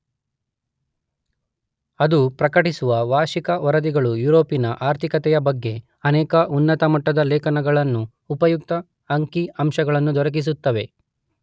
ಅದು ಪ್ರಕಟಿಸುವ ವಾರ್ಷಿಕ ವರದಿಗಳು ಯುರೋಪಿನ ಆರ್ಥಿಕತೆಯ ಬಗ್ಗೆ ಅನೇಕ ಉನ್ನತಮಟ್ಟದ ಲೇಖನಗಳನ್ನೂ ಉಪಯುಕ್ತ ಅಂಕಿ ಅಂಶಗಳನ್ನೂ ದೊರಕಿಸುತ್ತವೆ.